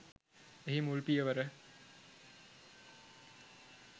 එහි මුල් පියවර